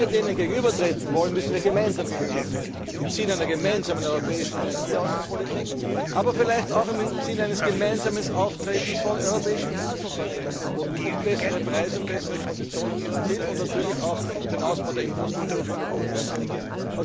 Wenn wir denen gegenübertreten wollen, müssen wir ihnen gemeinsam gegenübertreten im Sinne einer gemeinsamen europäischen Energieaußenpolitik, aber vielleicht auch im Sinne eines gemeinsamen Auftretens von europäischen Gasunternehmen, um bessere Preise und bessere Konditionen zu erzielen und natürlich auch den Ausbau der Infrastruktur wie Nabucco und anderes.